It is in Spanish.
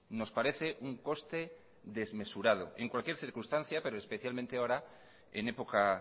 nos parece un coste desmesurado en cualquier circunstancia pero especialmente ahora en época